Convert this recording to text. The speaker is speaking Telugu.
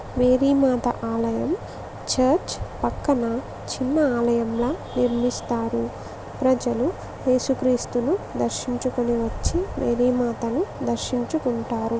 మేరీ మాత ఆలయం. చర్చ్ పక్కన చిన్న ఆలయంలా నిర్మిస్తారు. ప్రజలు ఏసుక్రీస్తును దర్శించుకొని వచ్చి మేరీమాతను దర్శించుకుంటారు.